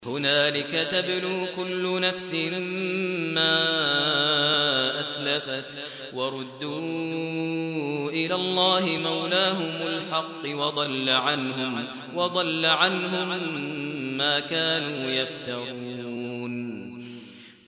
هُنَالِكَ تَبْلُو كُلُّ نَفْسٍ مَّا أَسْلَفَتْ ۚ وَرُدُّوا إِلَى اللَّهِ مَوْلَاهُمُ الْحَقِّ ۖ وَضَلَّ عَنْهُم مَّا كَانُوا يَفْتَرُونَ